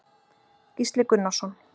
Gísli Gunnarsson.